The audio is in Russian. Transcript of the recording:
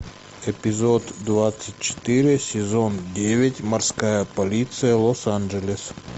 эпизод двадцать четыре сезон девять морская полиция лос анджелес